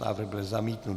Návrh byl zamítnut.